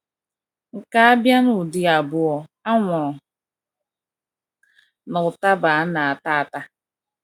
Nke a abia n’ụdị abụọ: anwụrụ na ụtaba a na - ata ata.